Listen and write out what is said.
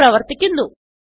ഇത് പ്രവർത്തിക്കുന്നു